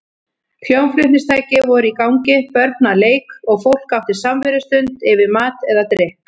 Hljómflutningstæki voru í gangi, börn að leik og fólk átti samverustund yfir mat eða drykk.